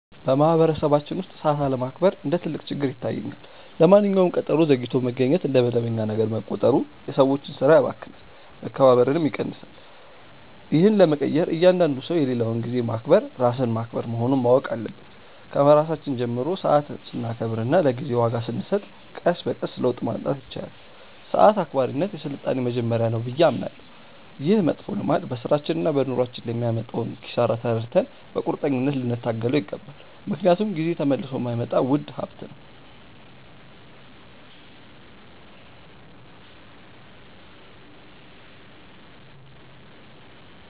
በማኅበረሰባችን ውስጥ ሰዓት አለማክበር እንደ ትልቅ ችግር ይታየኛል። ለማንኛውም ቀጠሮ ዘግይቶ መገኘት እንደ መደበኛ ነገር መቆጠሩ የሰዎችን ሥራ ያባክናል፣ መከባበርንም ይቀንሳል። ይህን ለመቀየር እያንዳንዱ ሰው የሌላውን ጊዜ ማክበር ራስን ማክበር መሆኑን ማወቅ አለበት። ከራሳችን ጀምረን ሰዓት ስናከብርና ለጊዜ ዋጋ ስንሰጥ ቀስ በቀስ ለውጥ ማምጣት ይቻላል። ሰዓት አክባሪነት የሥልጣኔ መጀመሪያ ነው ብዬ አምናለሁ። ይህ መጥፎ ልማድ በሥራችንና በኑሯችን ላይ የሚያመጣውን ኪሳራ ተረድተን በቁርጠኝነት ልንታገለው ይገባል፤ ምክንያቱም ጊዜ ተመልሶ የማይመጣ ውድ ሀብት ነው።